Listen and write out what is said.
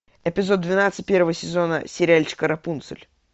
эпизод двенадцать первого сезона сериальчика рапунцель